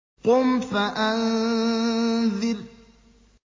قُمْ فَأَنذِرْ